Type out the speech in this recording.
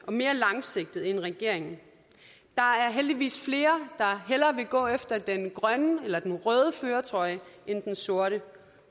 og mere langsigtet end regeringen der er heldigvis flere der hellere vil gå efter den grønne eller den røde førertrøje end den sorte